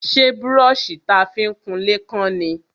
Ṣé brọ́ṣì ta fi ń kunlé kán ni?